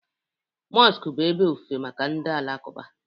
Mosku bụ ebe ofufe maka ndị Alakuba